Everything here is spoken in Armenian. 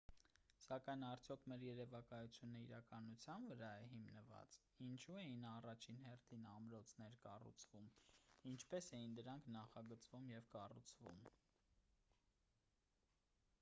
սակայն արդյոք մեր երևակայությունը իրականության վրա է հիմնված է ինչու էին առաջին հերթին ամրոցներ կառուցվում ինչպես էին դրանք նախագծվում և կառուցվում